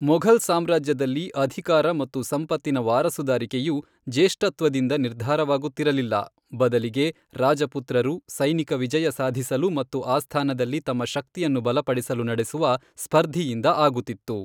ಮೊಘಲ್ ಸಾಮ್ರಾಜ್ಯದಲ್ಲಿ ಅಧಿಕಾರ ಮತ್ತು ಸಂಪತ್ತಿನ ವಾರಸುದಾರಿಕೆಯು ಜ್ಯೇಷ್ಠತ್ವದಿಂದ ನಿರ್ಧರವಾಗುತ್ತಿರಲಿಲ್ಲ, ಬದಲಿಗೆ ರಾಜ ಪುತ್ರರು ಸೈನಿಕ ವಿಜಯ ಸಾಧಿಸಲು ಮತ್ತು ಆಸ್ಥಾನದಲ್ಲಿ ತಮ್ಮ ಶಕ್ತಿಯನ್ನು ಬಲಪಡಿಸಲು ನಡೆಸುವ ಸ್ಪರ್ಧಿಯಿಂದ ಆಗುತ್ತಿತ್ತು.